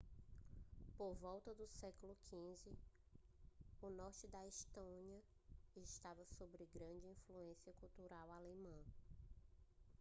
por volta do século xv o norte da estônia estava sobre grande influência cultural alemã